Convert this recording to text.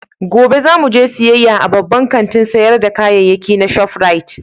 Gobe za mu je siyayya a babban kantin sayar da kayayyaki na Shop Rite